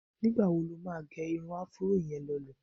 Nígbà wo lo máa gé irun afuró yẹn lọ ilẹ̀?